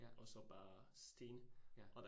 Ja. Ja